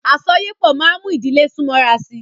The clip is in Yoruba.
Àsọyépọ̀ máa mú ìdílé sún mọ́ra sí.